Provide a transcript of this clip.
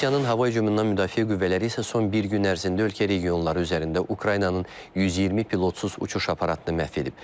Rusiyanın hava hücumundan müdafiə qüvvələri isə son bir gün ərzində ölkə regionları üzərində Ukraynanın 120 pilotsuz uçuş aparatını məhv edib.